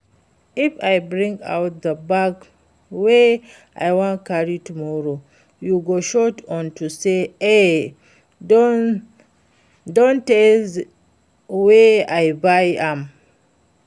If I bring out the bag wey I wan carry tomorrow you go shout unto say e don tey wey I buy am